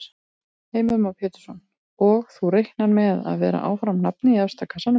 Heimir Már Pétursson: Og þú reiknar með að vera áfram nafnið í efsta kassanum?